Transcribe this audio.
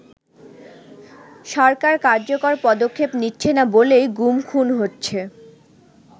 “সরকার কার্যকর পদক্ষেপ নিচ্ছেনা বলেই গুম খুন হচ্ছে”।